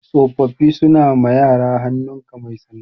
Tsofaffi suna ma yara hannun ka mai sanda